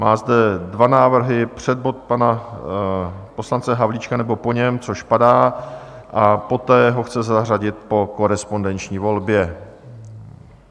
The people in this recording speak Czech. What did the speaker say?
Mám zde dva návrhy: před bod pana poslance Havlíčka, nebo po něm, což padá, a poté ho chce zařadit po korespondenční volbě.